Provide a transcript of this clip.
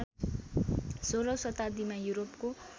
सोह्रौँ शताब्दीमा युरोपको